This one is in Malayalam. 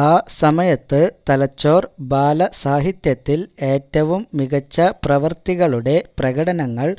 ആ സമയത്ത് തലച്ചോറ് ബാലസാഹിത്യത്തിൽ ഏറ്റവും മികച്ച പ്രവൃത്തികളുടെ പ്രകടനങ്ങൾ